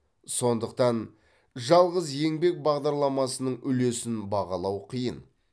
сондықтан жалғыз еңбек бағдарламасының үлесін бағалау қиын